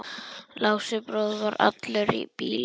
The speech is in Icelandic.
Lási bróðir var allur í bílum.